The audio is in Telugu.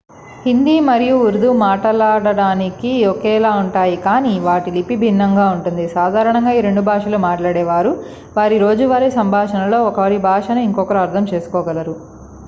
హిందీ మరియు ఉర్దూ మాట్లాడటానికి ఒకేలా ఉంటాయి కాని వాటి లిపి భిన్నంగా ఉంటుంది సాధారణంగా ఈ రెండు భాషలు మాట్లాడేవారు వారి రోజూవారి సంభాషణలో ఒకరి భాషను ఇంకొకరు అర్ధం చేసుకోగలరు